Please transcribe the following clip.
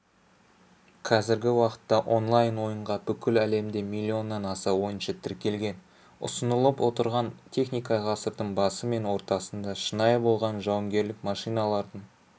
қазіргі уақытта онлайн ойынға бүкіл әлемде миллионнан аса ойыншы тіркелген ұсынылып отырған техника ғасырдың басы мен ортасында шынайы болған жауынгерлік машиналардың